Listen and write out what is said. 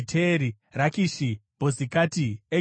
Rakishi, Bhozikati, Egironi,